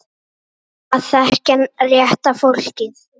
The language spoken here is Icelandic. Bara að þekkja rétta fólkið.